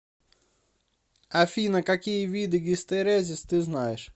афина какие виды гистерезис ты знаешь